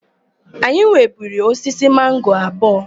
Anyị nweburu osisi mango abụọ.